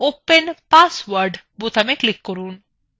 set open password বোতামে click করুন